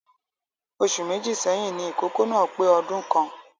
Oṣù Méjì sẹ́yìn ni ìkókó náà pé ọdún kan